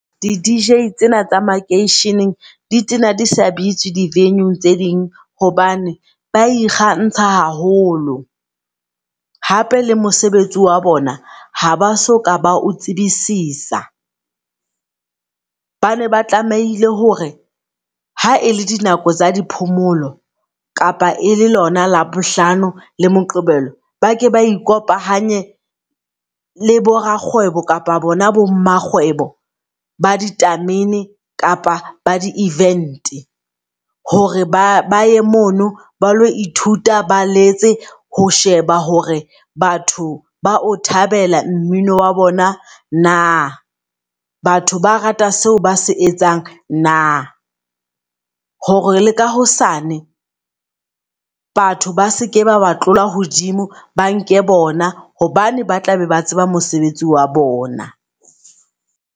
Di D_J tsena tsa makeisheneng di tsena di sa bitswe di venue-ung tse ding hobane ba ikgantsha haholo. Hape le mosebetsi wa bona ha ba so ka ba o tsebisisa. Ba ne ba tlamehile hore ha e le di nako tsa di phomolo kapa e le lona Labohlano le Moqebelo bake ba ikopanye le bo rakgwebo kapa bona bo mmakgwebo ba ditamene kapa ba di -event. Hore ba baye mono ba lo ithuta, ba letse ho sheba hore batho ba o thabela mmino wa bona na? Batho ba rata seo ba se etsang na? Hore le ka hosane batho ba seke ba ba tlola hodimo, ba nke bona hobane ba tla be ba tseba mosebetsi wa bona.